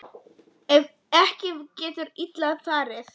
Ef ekki getur illa farið.